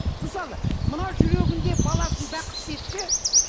мысалы мына жүрегінде баласын бақытты етсе